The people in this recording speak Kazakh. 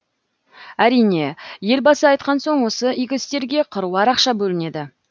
әрине елбасы айтқан соң осы игі істерге қыруар ақша бөлінеді